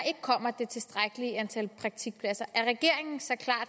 kommer det tilstrækkelige antal praktikpladser er regeringen så klar